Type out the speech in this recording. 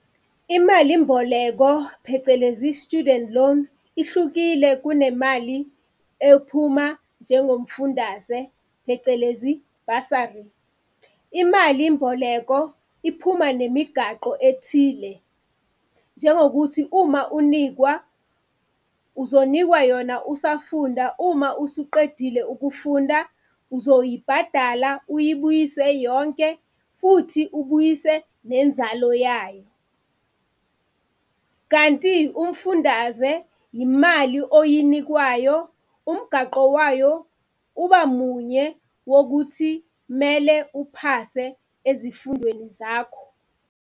Imalimboleko, phecelezi i-student loan ihlukile kunemali ephuma njengomfundaze, phecelezi bursary. Imalimboleko iphuma nemigaqo ethile, njengokuthi uma unikwa uzonikwa yona usafunda, uma usuqedile ukufunda uzoyibhadala, uyibuyise yonke futhi ubuyise nenzalo yayo. Kanti umfundaze yimali oyinikwayo, umgaqo wayo uba munye wokuthi mele uphase ezifundweni zakho